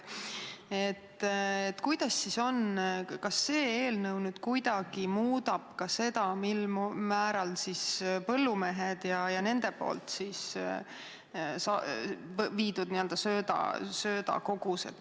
Kas see eelnõu kuidagi mõjutab ka põllumeeste kasutatavaid söödakogused?